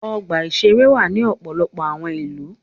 Ọgbà-ìṣeré wà ní ọ̀pọ̀lọpọ̀ àwọn ìlú.